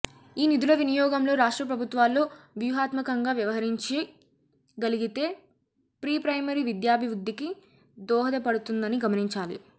ఈ నిధుల వినియోగంలో రాష్ట్ర ప్రభుత్వాలు వ్యూహాత్మకంగా వ్యవహరించ గలిగితే ప్రీప్రైమరీ విద్యాభివృద్ధికి దోహదపడుతుందని గమనించాలి